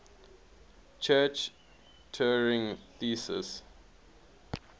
church turing thesis